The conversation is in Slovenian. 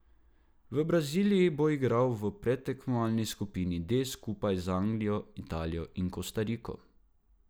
V Braziliji bo igral v predtekmovalni skupini D skupaj z Anglijo, Italijo in Kostariko.